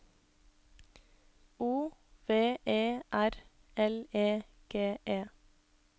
O V E R L E G E